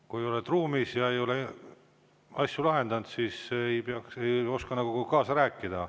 Kui oled ruumis ja ei ole asju lahendanud, siis ei oska nagu kaasa rääkida.